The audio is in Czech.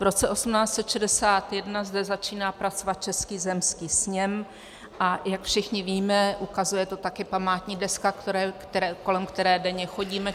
V roce 1861 zde začíná pracovat Český zemský sněm, a jak všichni víme, ukazuje to také památní deska, kolem které denně chodíme.